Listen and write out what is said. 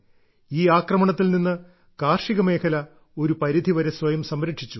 ഈ ആക്രമണത്തിൽ നിന്ന് കാർഷിക മേഖല ഒരു പരിധി വരെ സ്വയം സംരക്ഷിച്ചു